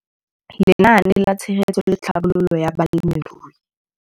Lenaane la Tshegetso le Tlhabololo ya Balemirui.